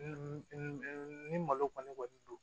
ni malo kɔni kɔni don